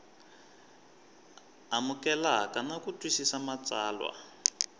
amukeleka na ku twisisa matsalwa